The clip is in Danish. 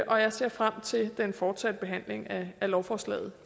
jeg ser frem til den fortsatte behandling af lovforslaget